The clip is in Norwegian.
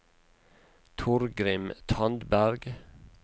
Torgrim Tandberg